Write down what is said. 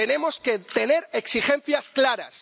Tenemos que tener exigencias claras.